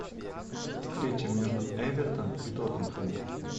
встреча между эвертон и тоттенхэм